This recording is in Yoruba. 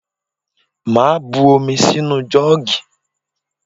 Màá bu omi sí inú jọ́ọ̀gì